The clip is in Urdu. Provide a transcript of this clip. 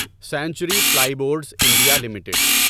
century Ply Boards India limited